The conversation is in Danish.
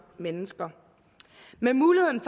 mennesker med muligheden